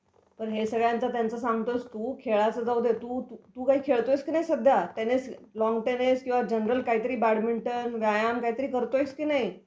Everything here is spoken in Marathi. पण हे सगळ्यांचं त्यांचं सांगतोयस तू खेळाचं जाऊ दे. तू काही खेळतोयस की नाहीस सध्या? टेनिस, लॉन टेनिस किंवा जनरल काहीतरी बॅडमिंटन व्यायाम काहीतरी करतोयस की नाही?